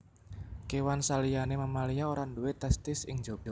Kéwan saliyané mamalia ora duwé testis ing njaba